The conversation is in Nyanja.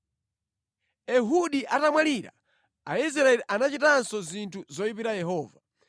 Ehudi atamwalira, Aisraeli anachitanso zinthu zoyipira Yehova.